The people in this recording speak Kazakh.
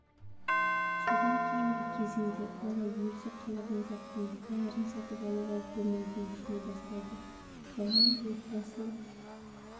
содан кейінгі кезеңде бала өзі қалаған заттың бәрін сатып алуға болмайтынын түсіне бастайды баланы отбасылық